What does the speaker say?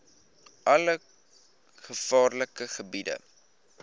alle gevaarlike gebiede